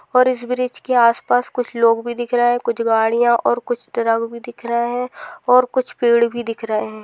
और इस ब्रिज के आस पास कुछ लोग भी दिख रहे है कुछ गाड़िया और कुछ ट्रक भी दिख रहे है और कुछ पेड़ भी दिख रहे है।